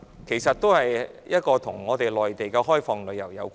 其實這情況與內地開放旅遊有關。